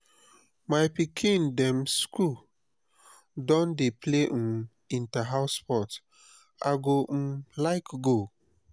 my pikin dem skool don dey play um inter-house sports i go um like go.